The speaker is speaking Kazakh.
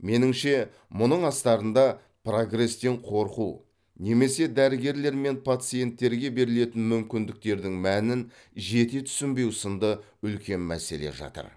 меніңше мұның астарында прогрестен қорқу немесе дәрігерлер мен пациенттерге берілетін мүмкіндіктердің мәнін жете түсінбеу сынды үлкен мәселе жатыр